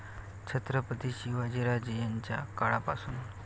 छत्रपती शिवाजीराजे यांच्या काळापासून